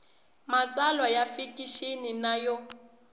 matsalwa ya fikixini na yo